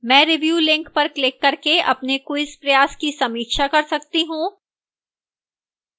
मैं review link पर click करके अपने quiz प्रयास की समीक्षा कर सकती हूँ